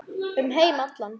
Um heim allan.